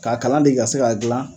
K'a kalan de ka se k'a dilan